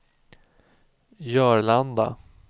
Jörlanda